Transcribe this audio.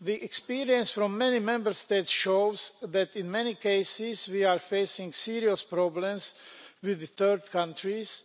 The experience from many Member States shows that in many cases we are facing serious problems with third countriesʼ